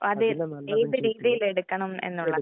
ഏത് രീതിയിൽ എടുക്കണം എന്നുള്ളതാ